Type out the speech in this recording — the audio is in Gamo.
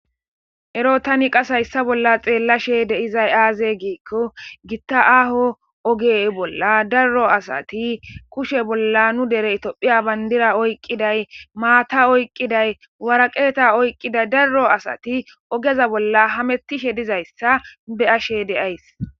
Ero taniqas hayssa bolla xeellashe deizay aaze giikko gitta aho oge bolla daruro asati kushe bolla nu dere itophiya bayndira oyqqiday maata oyqqiday waraqeeta oyqqiday daruro asati ogeza bolla hamettishe dizayssa be ashe deays.